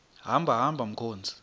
hamba hamba mkhozi